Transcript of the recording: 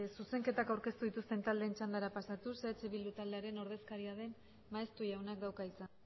zuzenketak aurkeztu dituzten taldeen txandara pasatuz eh bildu taldearen ordezkaria den maeztu jaunak dauka hitza